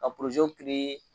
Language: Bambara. Ka